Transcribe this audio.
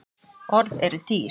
Orð eru dýr